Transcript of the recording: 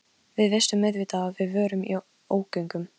Við vissum auðvitað að við vorum í ógöngum.